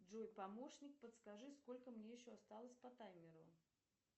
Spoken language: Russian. джой помощник подскажи сколько мне еще осталось по таймеру